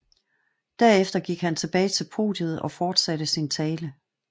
Derefter gik han tilbage til podiet og fortsatte sin tale